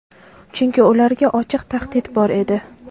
Chunki ularga ochiq tahdid bor edi.